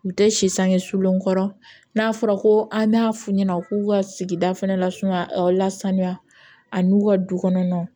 U tɛ si sange sulenkɔrɔ n'a fɔra ko an b'a f'u ɲɛna u k'u ka sigida fɛnɛ lasunu a lasaniya ani u ka dukɔnɔ